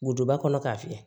Wotoroba kɔnɔ k'a fiyɛ